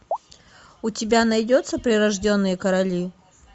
у тебя найдется прирожденные короли